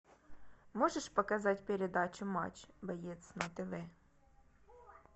можешь показать передачу матч боец на тв